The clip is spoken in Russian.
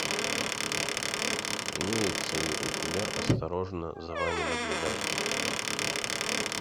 имеется ли у тебя осторожно за вами наблюдают